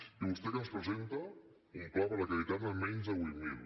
i vostè què ens presenta un pla per acreditar ne menys de vuit mil